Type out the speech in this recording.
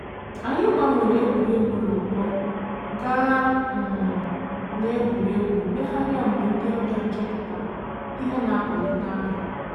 Anyị gbanwere egwuregwu n’ụkpọ gaa um n’egwuregwu mmegharị mgbe ndị ọbịa chọpụtara ihe na-akwalite ahụ.